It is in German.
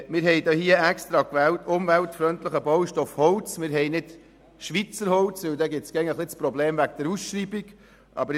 Wir haben hier explizit die Formulierung «umweltfreundlichen Baustoff Holz» und nicht «Schweizer Holz» gewählt, weil es sonst Probleme bei der Ausschreibung gäbe.